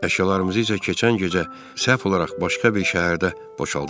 Əşyalarımızı isə keçən gecə səhv olaraq başqa bir şəhərdə boşaltdılar.